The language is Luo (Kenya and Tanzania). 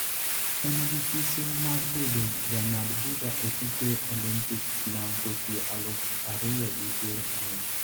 En gi siso mar bedo jang'ad bura e tuke Olimpiks ma Tokyo aluf ariyo gi piero ariyo.